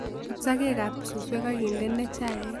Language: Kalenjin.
But sakeek ab suusweek akindene chayiik